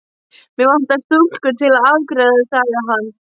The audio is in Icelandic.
Mig vantar stúlku til að afgreiða sagði hann.